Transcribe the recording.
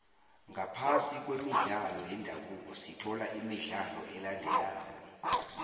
ngaphasi kwemidlalo yendabuko sithola imidlalo elandelako